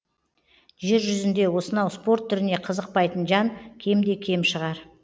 жер жүзінде осынау спорт түріне қызықпайтын жан кемде кем шығар